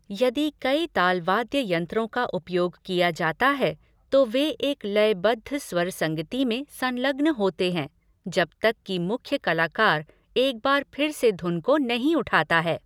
यदि कई तालवाद्य यंत्रों का उपयोग किया जाता है, तो वे एक लयबद्ध स्वर संगति में संलग्न होते हैं जब तक कि मुख्य कलाकार एक बार फिर से धुन को नहीं उठाता है।